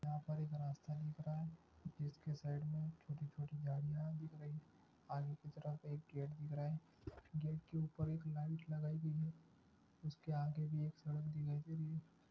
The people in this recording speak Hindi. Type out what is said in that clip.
यहा पर एक रास्ता दिख रहा हे जिसके साइड चोटी चोटी गाड़िया दिख रही आगे की तरफ एक गेट दिख रहा हे गेट के ऊपर एक लाइट लगाई गई हे उसके आगे भी एक सड़क दिख रही--